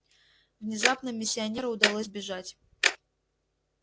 внезапно миссионеру удалось бежать